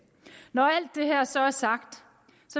når alt det her så er sagt